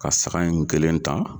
Ka saga in n kelen ta